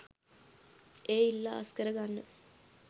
එය ඉල්ලා අස් කර ගන්න.